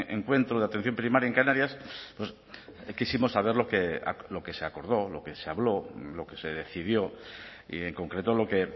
encuentro de atención primaria en canarias quisimos saber lo que se acordó lo que se habló lo que se decidió y en concreto lo que